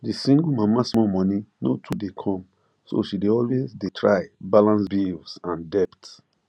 the single mama small money no too dey come so she dey always dey try balance bills and debt